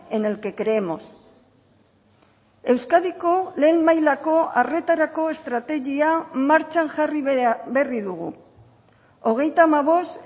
en el que creemos euskadiko lehen mailako arretarako estrategia martxan jarri berri dugu hogeita hamabost